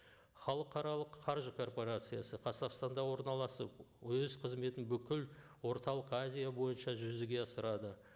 халықаралық қаржы корпорациясы қазақстанда орналасып өз қызметін бүкіл орталық азия бойынша жүзеге асырады